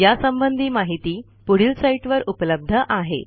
यासंबंधी माहिती पुढील साईटवर उपलब्ध आहे